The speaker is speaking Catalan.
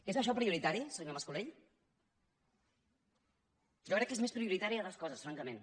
és això prioritari senyor mas colell jo crec que són més prioritàries altres coses francament